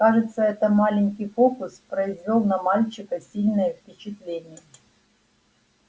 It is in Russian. кажется этот маленький фокус произвёл на мальчика сильное впечатление